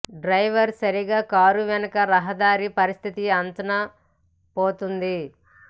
driver సరిగ్గా car వెనుక రహదారి పరిస్థితి అంచనా పోతోంది